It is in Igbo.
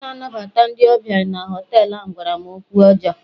onye na-anabata ndị ọbịa na họtelu ahụ gwara m okwu ọjọọ